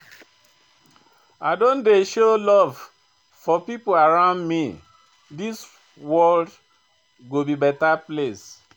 I don dey show love to pipo around me, dis world go be beta place.